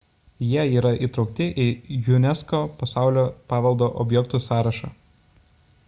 jie yra įtraukti į unesco pasaulio paveldo objektų sąrašą